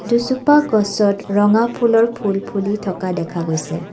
দুজোপা গছত ৰঙ ফুলৰ ফুল ফুলি থকা দেখা গৈছে।